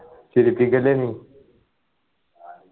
ചിരിപ്പിക്കല്ലേ നീ